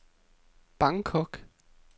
Bangkok